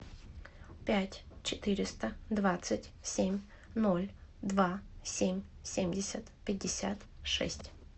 пять четыреста двадцать семь ноль два семь семьдесят пятьдесят шесть